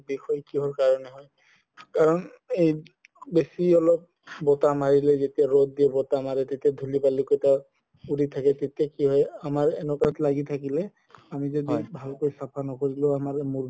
বিষ কিহৰ কাৰণে হয় কাৰণে এই বেচি অলপ বতাহ মাৰিলে যেতিয়া ৰ'দ দিয়ে বতাহ মাৰে তেতিয়া ধুলি বালো কেইটাৰ উৰি থাকে তেতিয়া কি হয় আমাৰ এনেকুৱাত লাগি থাকিলে আমি যদি ভালকৈ চাফা নকৰিলে আমাৰ মোৰ বিষ